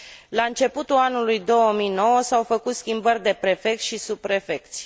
La începutul anului 2009 s au făcut schimbări de prefecți și subprefecți.